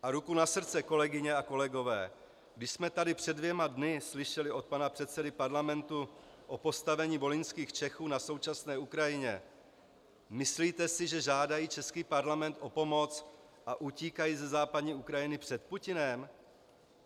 A ruku na srdce, kolegyně a kolegové, když jsme tady před dvěma dny slyšeli od pana předsedy parlamentu o postavení volyňských Čechů na současné Ukrajině, myslíte si, že žádají český parlament o pomoc a utíkají ze západní Ukrajiny před Putinem?